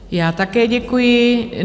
Já také děkuji.